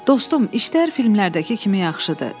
Dostum, işlər filmlərdəki kimi yaxşıdır.